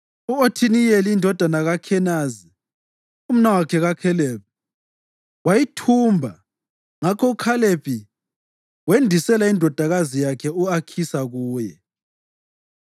U-Othiniyeli, indodana kaKhenazi, umnawakhe kaKhalebi, wayithumba; ngakho uKhalebi wendisela indodakazi yakhe u-Akhisa kuye.